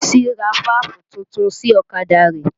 Bísí ra fáàfù titun sí ọ̀kadà rẹ̀